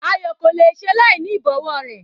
Ayo kò le è ṣe láìní ìbọ̀wọ́ rẹ̀.